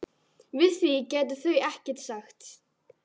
Við því gætu þau ekkert sagt.